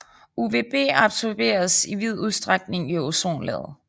UVB absorberes i vid udstrækning i ozonlaget